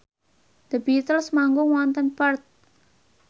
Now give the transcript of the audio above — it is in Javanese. The Beatles manggung wonten Perth